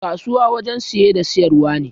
Kasuwa wurin saye da sayar wa ne